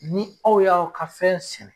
Ni aw y'aw ka fɛn sɛnɛ